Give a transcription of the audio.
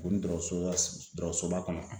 Ko ni dɔgɔso dɔgɔsoba kɔnɔ.